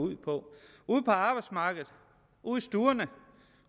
ud på ude på arbejdsmarkedet ude i stuerne